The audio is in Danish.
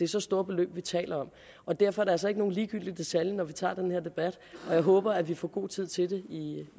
så store beløb vi taler om og derfor er det altså ikke nogen ligegyldig detalje når vi tager den her debat og jeg håber vi får god tid til det